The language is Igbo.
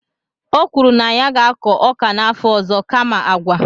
o kwuru na ya ga-akọ ọka n'afọ ọzọ kama agwa.